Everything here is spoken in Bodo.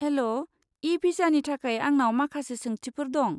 हेल', इ भिसानि थाखाय आंनाव माखासे सोंथिफोर दं।